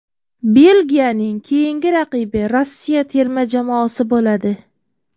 Belgiyaning keyingi raqibi Rossiya terma jamoasi bo‘ladi.